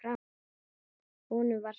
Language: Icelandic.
Honum var sama.